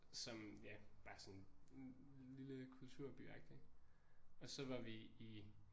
Som ja bare sådan en lille kulturbyagtig og så var vi i